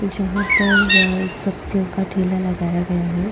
जहां पर सब्जियों का ठेला लगाया गया है।